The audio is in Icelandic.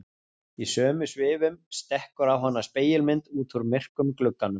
Í sömu svifum stekkur á hana spegilmynd út úr myrkum glugganum.